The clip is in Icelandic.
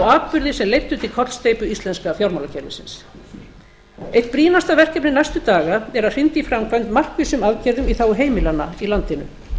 sem leiddu til kollsteypu íslenska fjármálakerfisins eitt brýnasta verkefni næstu daga er að hrinda í framkvæmd markvissum aðgerðum í þágu heimilanna í landinu